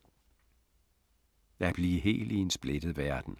At blive hel i en splittet verden